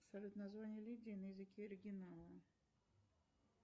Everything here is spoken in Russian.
салют название лидии на языке оригинала